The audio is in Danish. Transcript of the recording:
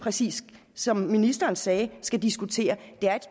som ministeren sagde skal diskutere det